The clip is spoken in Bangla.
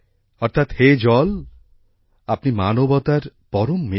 অর্থাৎ হে জল আপনি মানবতার পরম মিত্র